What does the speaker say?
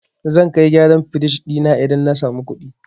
Zan kai gyaran firij ɗina idan na samu kuɗi.